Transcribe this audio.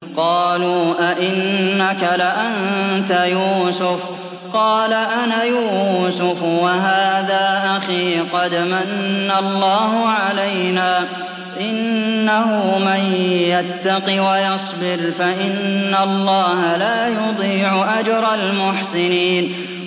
قَالُوا أَإِنَّكَ لَأَنتَ يُوسُفُ ۖ قَالَ أَنَا يُوسُفُ وَهَٰذَا أَخِي ۖ قَدْ مَنَّ اللَّهُ عَلَيْنَا ۖ إِنَّهُ مَن يَتَّقِ وَيَصْبِرْ فَإِنَّ اللَّهَ لَا يُضِيعُ أَجْرَ الْمُحْسِنِينَ